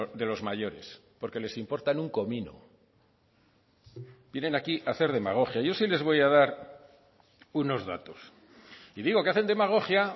de los mayores porque les importan un comino vienen aquí a hacer demagogia yo sí les voy a dar unos datos y digo que hacen demagogia